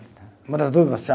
Muda tudo